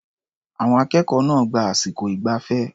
Àwọn akẹ́kọ̀ọ́ náà gba àsìkò ìgbafẹ́.